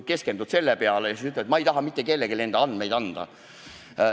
Keskendud sellele ja siis ütled, et ma ei taha mitte kellelegi enda andmeid anda.